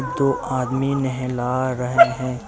दो आदमी नहला रहे हैं।